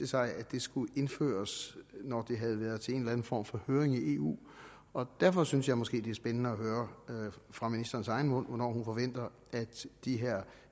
sig at det skulle indføres når det havde været til en form for høring i eu og derfor synes jeg måske det er spændende at høre fra ministerens egen mund hvornår hun forventer at de her